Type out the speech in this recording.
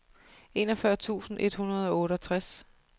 enogfyrre tusind et hundrede og otteogtres